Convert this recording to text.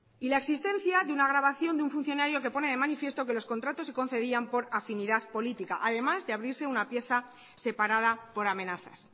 y la existencia de una grabación de un funcionario que pone de manifiesto que los contratos se concedían por afinidad política además de abrirse una pieza separada por amenazas